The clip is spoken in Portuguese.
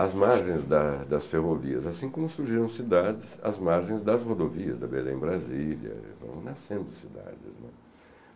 As margens da das ferrovias, assim como surgiram cidades, as margens das rodovias, da Belém-Brasília, foram nascendo cidades, né.